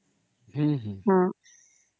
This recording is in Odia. ଠିକ୍ ଅଛି